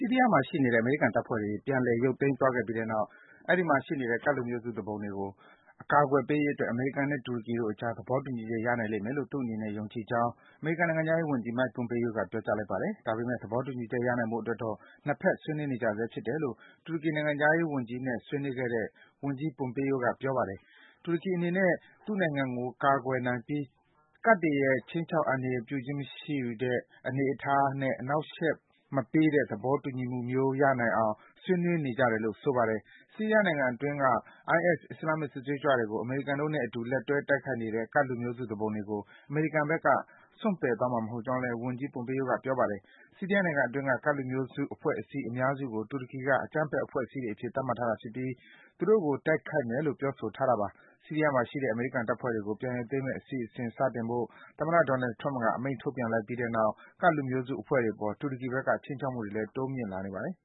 ီးရီးယားမှာရှိနေတဲ့ အမေရိကန်တပ်ဖွဲ့တွေ ပြန်လည် ရုပ်သိမ်းသွားပြီးတဲ့နောက် အဲဒီမှာရှိနေတဲ့ ကဒ်လူမျိုးစု သူပုန်အဖွဲ့တွေကို အကာကွယ်ပေးရေးအတွက် အမေရိကန်နဲ့ တူရကီနိုင်ငံတို့အကြား သဘောတူညီချက် ရနိုင်လိမ့်မယ်လို့ သူ့အနေနဲ့ ယုံကြည်ကြောင်း အမေရိကန် နိုင်ငံခြားရေးဝန်ကြီး Mike Pompeo က ပြောကြား လိုက်ပါတယ်။ ဒါပေမယ့် သဘောတူညီချက် ရနိုင်ဖို့အတွက်တော့ နှစ်ဘက် ဆွေးနွေးနေကြဆဲ ဖြစ်တယ်လို့ တူရကီနိုင်ငံခြား ရေးဝန်ကြီးနဲ့ ဆွေးနွေးခဲ့တဲ့ ဝန်ကြီး Pompeo က ပြောပါတယ်။ တူရကီအနေနဲ့ သူ့နိုင်ငံကို ကာကွယ်နိုင်ပြီး ခြိမ်းခြောက် အန္တရာယ်ပြုခြင်းမရှိတဲ့ ကဒ်လူမျိုးစု သူပုန်တွေကို အနှောက်အယှက်မပေးတဲ့ သဘောတူညီ ချက်မျိုး ရနိုင်အောင် ဆွေးနွေးနေကြတယ်လို့ ဆိုပါတယ်။ ဆီးရီးယားနိုင်ငံအတွင်းက IS အစ္စလာမ်မစ် စစ်သွေးကြွတွေကို အမေရိကန်တို့နဲ့အတူ လက်တွဲ တိုက်ခိုက် နေတဲ့ ကဒ်လူမျိုးစု သူပုန်တွေကို အမေရိကန်ဘက်က စွန့်ပယ်သွားမှာ မဟုတ်ကြောင်းလည်း ဝန်ကြီး Pompeo က ပြောပါတယ်။ ဆီးရီးယားနိုင်ငံအတွင်းက ကဒ်လူမျိုးစု အဖွဲ့အစည်း အများစုကို တူရကီက အကြမ်းဖက်အဖွဲ့အစည်းတွေ အဖြစ် သတ်မှတ်ထားတာ ဖြစ်ပြီး သူတို့ကို တိုက်ခိုက်မယ်လို့ ပြောဆိုထားတာပါ။ ဆီးရီးယားမှာရှိတဲ့ အမေရိကန်တပ်ဖွဲ့ တွေကို ပြန်ရုပ်သိမ်းမယ့် အစီအစဉ် စတင်ဖို့ သမ္မတ Donald Trump က အမိန့် ထုတ်ပြန်လိုက်ပြီးတဲ့နောက် ကဒ်လူမျိုးစုအဖွဲ့တွေအပေါ် တူရကီဘက်က ခြိမ်းခြောက်မှုတွေလည်း တိုးမြင့် လာနေပါတယ်